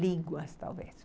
Línguas, talvez.